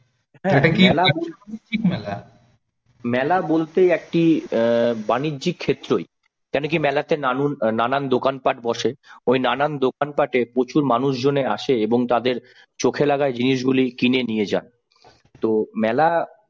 মেলা বলতে একটি অ্যাঁ বাণিজ্যিক ক্ষেত্রই কেন কি মেলাতে নানুন নানান দোকানপাট বসে ওই নানান দোকানপাটে প্রচুর মানুষজন আসে এবং তাদের চোখে লাগা জিনিসগুলি কিনে নিয়ে যান। তো মেলা